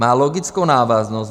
Má logickou návaznost.